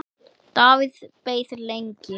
Davíð beið lengi.